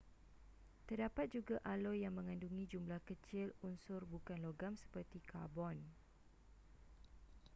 terdapat juga aloi yang mengandungi jumlah kecil unsur bukan logam seperti karbon